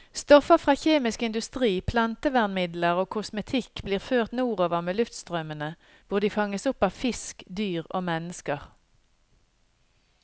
Stoffer fra kjemisk industri, plantevernmidler og kosmetikk blir ført nordover med luftstrømmene, hvor de fanges opp av fisk, dyr og mennesker.